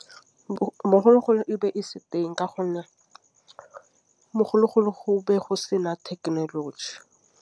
Bogologolo e be e se teng ka gonne bogologolo go ne go sena thekenoloji.